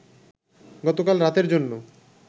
গতকাল রাতের জন্য